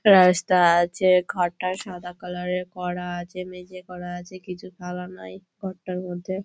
রাস্তা আছে ঘরটা সাদা কালার - এর করা আছে মেঝে করা আছে কিছু কলাম নাই ঘরটার মধ্যে।